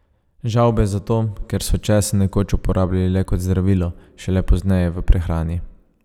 Žavbe zato, ker so česen nekoč uporabljali le kot zdravilo, šele pozneje v prehrani.